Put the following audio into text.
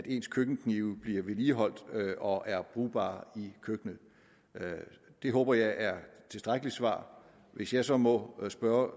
ens køkkenknive bliver vedligeholdt og er brugbare i køkkenet det håber jeg er tilstrækkeligt svar hvis jeg så må spørge